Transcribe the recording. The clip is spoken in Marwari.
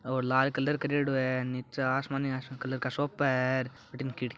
और अ लाल कलर करेडो है निचे आसमानी कलर का सोफा अठीने खिड़की--